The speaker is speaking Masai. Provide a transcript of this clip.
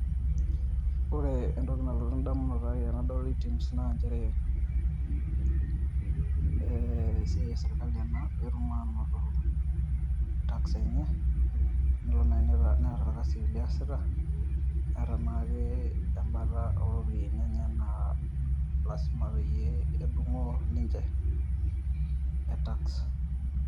Ore entoki nalotu edamunoto ai tenadol Etims na njere, eh esiai esirkali ena petum anoto tax enye, enelo nai neeta orkasi liasita, ata anaa ke bata oropiyiani enye na lasima peyie edung'oo ninche,e tax.